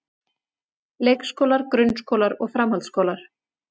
Leikskólar, grunnskólar og framhaldsskólar.